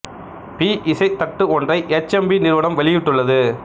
B இசைத் தட்டு ஒன்றை எச் எம் வி நிறுவனம் வெளியிட்டுள்ளது